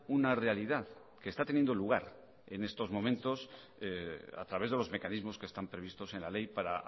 una realidad que esta teniendo lugar en estos momentos a través de los mecanismos que están previstos en la ley para